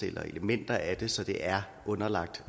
eller elementer af det så det er underlagt